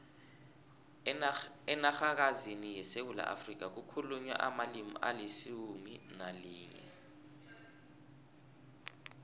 enarhakazini yesewula afrika kukhulunywa amalimi alisumu nalinye